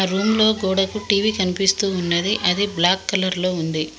ఆ రూమ్ లో గోడకు టీవీ కనిపిస్తూ ఉన్నది అది బ్లాక్ కలర్ లో ఉంది.